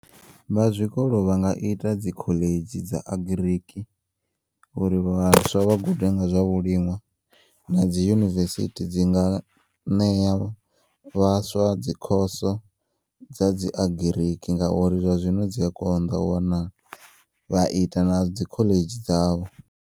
Vha zwikolo vhanga ita dzikholedzhi dza agiriki uri vhaswa vha gude nga zwa vhulinṅwa nadzi yunivesithi dzinga neya vhaswa dzikhoso dzadzi agiriki ngauri zwazwino dziya konḓa u wanala vha ita nadzi kholedzhi dzavho.